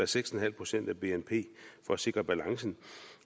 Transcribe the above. seks en halv procent af bnp for at sikre balancen